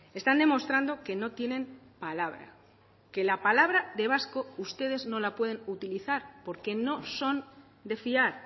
están demostrando que no tienen palabra que la palabra de vasco ustedes no la pueden utilizar porque no son de fiar